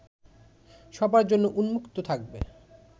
সবার জন্য উন্মুক্ত থাকবে